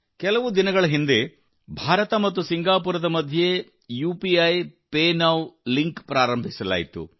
ಕೆಲವು ದಿನಗಳ ಹಿಂದೆ ಭಾರತ ಮತ್ತು ಸಿಂಗಾಪುರದ ಮಧ್ಯೆ ಯುಪಿಐಪೇ ನೌ ಲಿಂಕ್ ಅನ್ನು ಪ್ರಾರಂಭಿಸಲಾಯಿತು